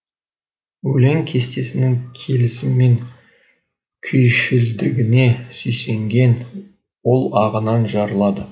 өлең кестесінің келісімі мен күйшілдігіне сүйсінген ол ағынан жарылады